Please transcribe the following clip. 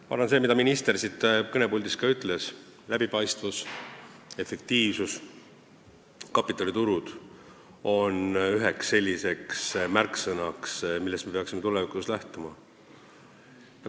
Ma arvan, et see, mida minister siin kõnepuldis ütles – läbipaistvus, efektiivsus, kapitaliturud –, on ühed märksõnad, millest me peaksime tulevikus lähtuma.